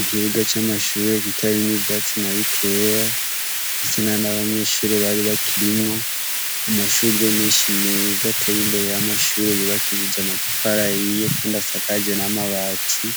Ikibuga c'amashure kitarimwo ivyatsi na bikeya, ndetse ntana banyeshure bari bakirimwo, amashugwe menshi meza ateye imbere y'amashure yubakishije amatafari ahiye kandi asakaje n'amabati,